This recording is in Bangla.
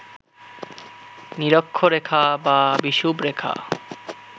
নিরক্ষরেখা বা বিষুবরেখা